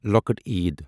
ی